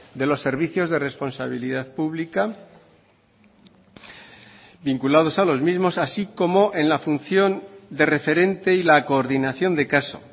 de los servicios de responsabilidad pública vinculados a los mismos así como en la función de referente y la coordinación de caso